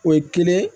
O ye kelen ye